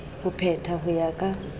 ho petha ho ya ka